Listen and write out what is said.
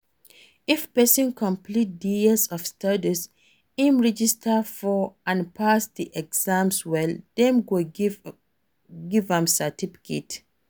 If person complete di years of studies im register for and pass di exams well dem go give am certificate